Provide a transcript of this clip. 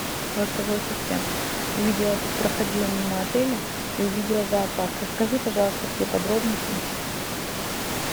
голосовой ассистент увидела тут проходила мимо отеля и увидела зоопарк расскажи пожалуйста все подробности